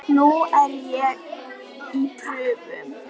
Nú er ég í prufum.